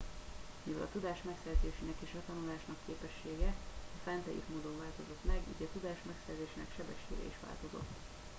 mivel a tudás megszerzésének és a tanulásnak a képessége a fent leírt módon változott meg így a tudás megszerzésének sebessége is változott